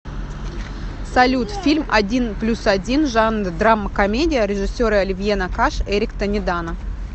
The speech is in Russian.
салют фильм один плюс один жанр драма комедия режиссеры оливье накаш эрик тонедано